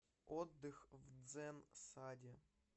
отдых в дзэн саде